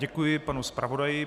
Děkuji panu zpravodaji.